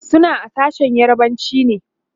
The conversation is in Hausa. suna a sashen yarbanci ne